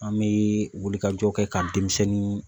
An mee wuli ka jɔ kɛ ka denmisɛnnin